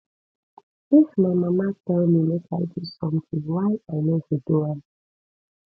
if my mama tell me make i do something why i no go do am